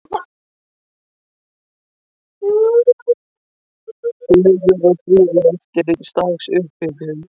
Fögur og fríð eftir eins dags upphitun.